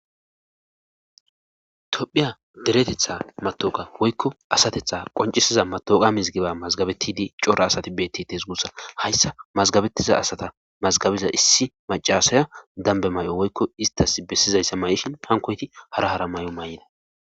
tophiya deretetha matooqa woykko asatetha qoncisiza matoqa mizgiba mazgabettidi cora asati beetti tesgussa hayssa mazgabetiza asata mazgabiza issi macasaya dambe may7o woykko istas bessizayssa may7ishin pankoyti hara hara may7o may7ida